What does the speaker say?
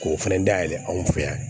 K'o fɛnɛ da yɛlɛ an fɛ yan